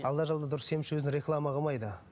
алла жолында дұрыс емші өзін реклама қылмайды